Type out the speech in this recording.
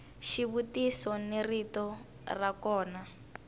xivutiso ni rito ra kona